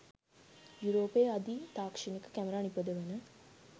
යුරෝපයේ අධි තාක්ෂණික කැමරා නිපදවන